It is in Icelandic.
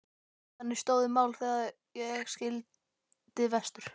Þannig stóðu mál þegar ég sigldi vestur.